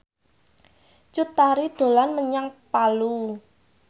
Cut Tari dolan menyang Palu